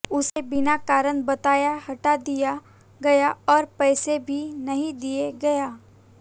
उसे बिना कारण बताए हटा दिया गया और पैसा भी नहीं दिया गया